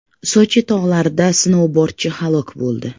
Sochi tog‘larida snoubordchi halok bo‘ldi.